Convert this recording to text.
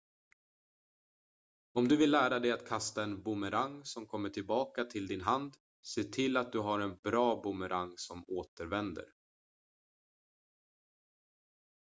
om du vill lära dig att kasta en boomerang som kommer tillbaka till din hand se till att du har en bra boomerang som återvänder